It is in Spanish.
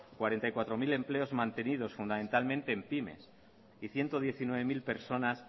cuarenta y cuatro mil empleos mantenidos fundamentalmente en pymes y ciento diecinueve mil personas